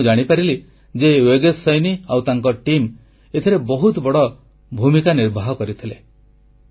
ଭାଇ ମୁଁ ଜାଣିପାରିଲି ଯେ ୟୋଗେଶ ସୈନୀ ଆଉ ତାଙ୍କ ଦଳ ଏଥିରେ ବହୁତ ବଡ଼ ଭୂମିକା ନିର୍ବାହ କରିଥିଲେ